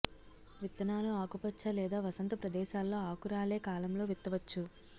విత్తనాలు ఆకుపచ్చ లేదా వసంత ప్రదేశాల్లో ఆకురాలే కాలంలో విత్తవచ్చు